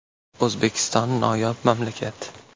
- O‘zbekiston noyob mamlakat.